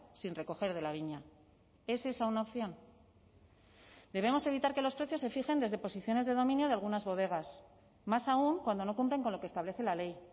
sin recoger de la viña es esa una opción debemos evitar que los precios se fijen desde posiciones de dominio de algunas bodegas más aún cuando no cumplen con lo que establece la ley